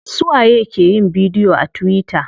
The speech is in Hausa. Suwa ye ke yin bidiyo a tuwita?